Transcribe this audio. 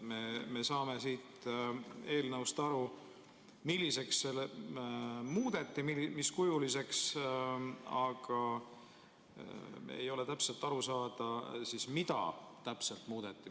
Me saame siit eelnõust aru, milliseks muudeti, mis kujuliseks, aga ei ole täpselt aru saada, mida muudeti.